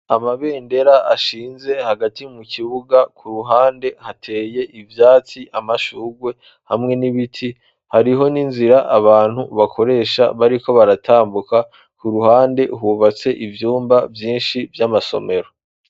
Amabendera ashinze hagati mu kibuga, ku ruhande hateye ivyatsi, amashugwe hamwe n'ibiti, hariho n'inzira abantu bakoresha bariko baratambuka, ku ruhande hubatse ivyumba vyinshi vy'amasomero.